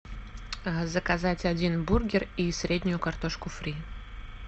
заказать один бургер и среднюю картошку фри